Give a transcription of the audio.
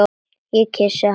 Ég kyssi hana.